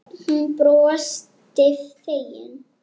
Hún brosti fegin.